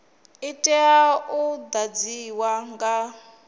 i tea u ḓadzwa nga